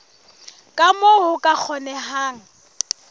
ka moo ho ka kgonehang